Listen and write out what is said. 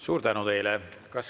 Suur tänu teile!